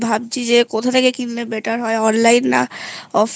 ভাবছি যে কোথা থেকে কিনলে better হয় online না offline